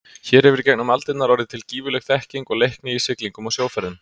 Hér hefur í gegnum aldirnar orðið til gífurleg þekking og leikni í siglingum og sjóferðum.